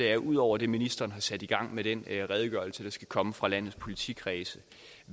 er ud over det ministeren har sat i gang med den redegørelse der skal komme fra landets politikredse